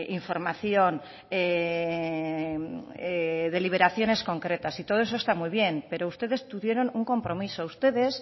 información deliberaciones concretas y todo eso está muy bien pero ustedes tuvieron un compromiso ustedes